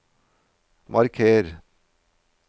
marker